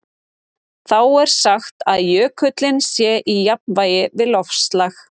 Þá er sagt að jökullinn sé í jafnvægi við loftslag.